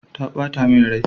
Ta bata min rai.